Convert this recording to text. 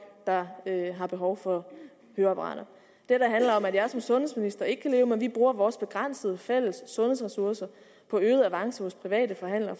der har behov for høreapparater det handler om at jeg som sundhedsminister ikke kan leve med at vi bruger vores begrænsede fælles sundhedsressourcer på øget avance hos private forhandlere